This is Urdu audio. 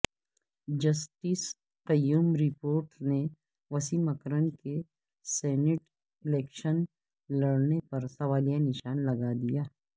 جسٹس قیوم رپورٹ نے وسیم اکرم کے سینیٹ الیکشن لڑنے پر سوالیہ نشان لگا دیا